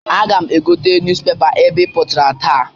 Aga m egote nuz pepa e bipụtara taa.